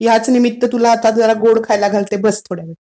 ह्याच निमित्त तुला आता जरा गोड़ खायला घालते, बस थोडावेळ.